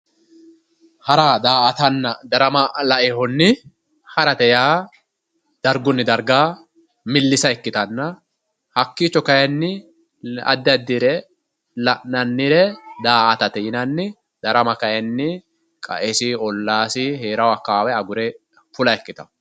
Hara, daa"attanna darama lainohunni harate dargunni darga milisa ikkittanna hakkicho kayinni la'nannire daa"atate yinnanni, darama kayinni qaesi ollasi agure fulla ikkittano.